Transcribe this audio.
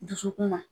Dusukun na